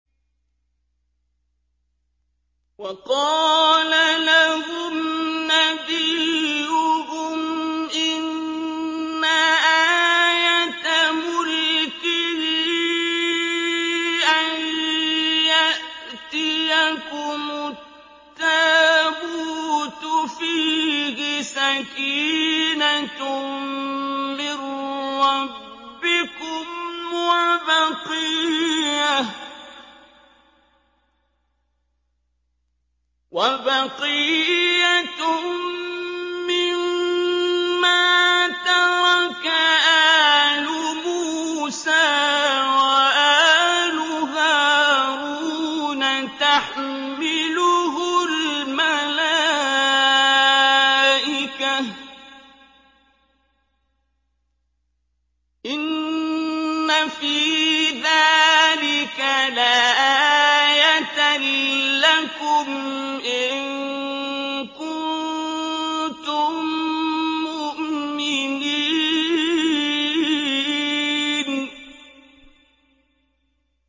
وَقَالَ لَهُمْ نَبِيُّهُمْ إِنَّ آيَةَ مُلْكِهِ أَن يَأْتِيَكُمُ التَّابُوتُ فِيهِ سَكِينَةٌ مِّن رَّبِّكُمْ وَبَقِيَّةٌ مِّمَّا تَرَكَ آلُ مُوسَىٰ وَآلُ هَارُونَ تَحْمِلُهُ الْمَلَائِكَةُ ۚ إِنَّ فِي ذَٰلِكَ لَآيَةً لَّكُمْ إِن كُنتُم مُّؤْمِنِينَ